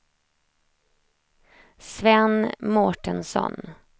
Sven Mårtensson